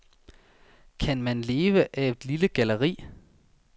Kan man leve af et lille galleri?